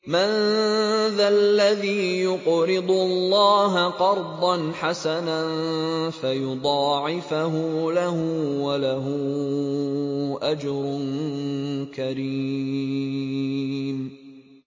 مَّن ذَا الَّذِي يُقْرِضُ اللَّهَ قَرْضًا حَسَنًا فَيُضَاعِفَهُ لَهُ وَلَهُ أَجْرٌ كَرِيمٌ